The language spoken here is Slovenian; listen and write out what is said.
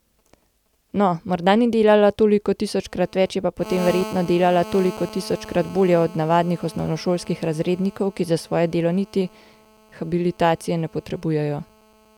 No, morda ni delala toliko tisočkrat več, je pa potem verjetno delala toliko tisočkrat bolje od navadnih osnovnošolskih razrednikov, ki za svoje delo niti habilitacije ne potrebujejo.